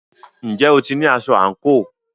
Ǹjẹ́ o ti ní aṣọ àǹkóò?